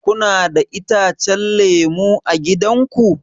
Kuna da itacen lemu a gida ku?